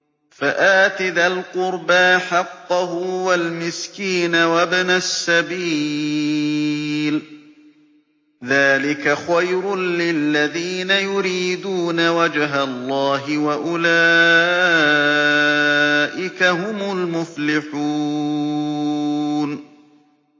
فَآتِ ذَا الْقُرْبَىٰ حَقَّهُ وَالْمِسْكِينَ وَابْنَ السَّبِيلِ ۚ ذَٰلِكَ خَيْرٌ لِّلَّذِينَ يُرِيدُونَ وَجْهَ اللَّهِ ۖ وَأُولَٰئِكَ هُمُ الْمُفْلِحُونَ